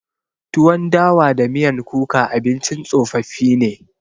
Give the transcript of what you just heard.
Tuwon dawa da miyan kuka abincin tsofaffi ne.